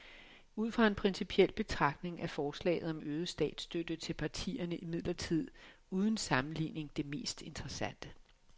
Ud fra en principiel betragtning er forslaget om øget statsstøtte til partierne imidlertid uden sammenligning det mest interessante.